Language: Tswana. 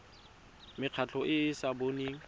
mekgatlho e e sa boneng